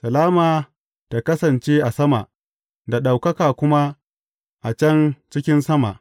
Salama ta kasance a sama, da ɗaukaka kuma a can cikin sama!